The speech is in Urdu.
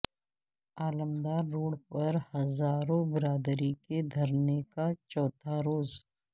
علمدار روڈ پر ہزارہ برادری کے دھرنے کا چوتھا روز